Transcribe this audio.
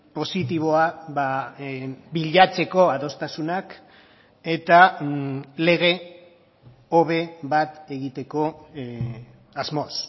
positiboa bilatzeko adostasunak eta lege hobe bat egiteko asmoz